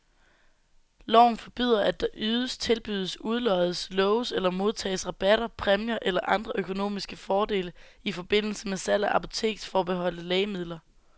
Loven forbyder, at der ydes, tilbydes, udloddes, loves eller modtages rabatter, præmier eller andre økonomiske fordele i forbindelse med salg af apoteksforbeholdte lægemidler.